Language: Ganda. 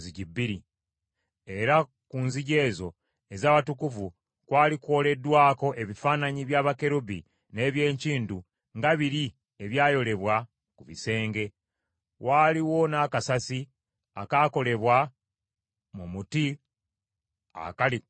Era ku nzigi ezo ez’Awatukuvu kwali kwoleddwako ebifaananyi bya bakerubi n’eby’enkindu nga biri ebyayolebwa ku bisenge. Waaliwo n’akasasi akaakolebwa mu muti akali ku kisasi.